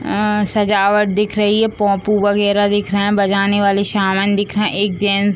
उम्म सजावट दिख रही है पोंपू वगैरा दिख रहे हैं | बजाने वाले सामान दिख रहे हैं | एक जेट्स --